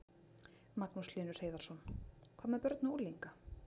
Magnús Hlynur Hreiðarsson: Hvað með börn og unglinga?